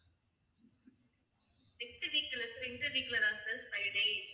next week இல்ல sir. இந்த week ல தான் sir friday evening வரேன்.